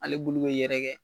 Ale bulu be yɛrɛkɛ